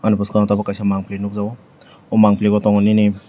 bwskang tabu kaisa mampli nukjago aw mampli o tamo nini.